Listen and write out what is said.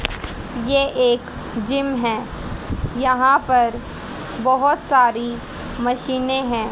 ये एक जिम है यहां पर बहुत सारी मशीनें हैं।